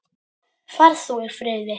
Far þú í friði.